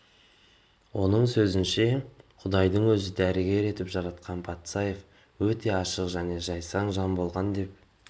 оның сөзінше құдайдың өзі дәрігер етіп жаратқан патсаев өте ашық және жайсаң жан болған деп